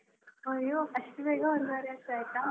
ಅಯ್ಯೋ ಅಷ್ಟು ಬೇಗ ಒಂದುವರೆ ವರ್ಷ ಆಯ್ತಾ.